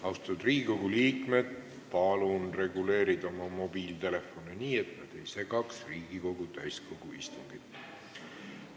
Austatud Riigikogu liikmed, palun reguleerida oma mobiiltelefone nii, et nad ei segaks Riigikogu täiskogu istungit!